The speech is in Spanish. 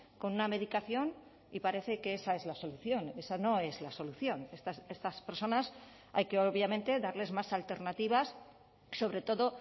con una medicación y parece que esa es la solución esa no es la solución estas personas hay que obviamente darles más alternativas sobre todo